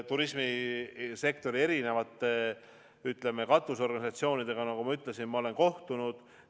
Turismisektori erinevate katusorganisatsioonidega, nagu ma ütlesin, ma olen kohtunud.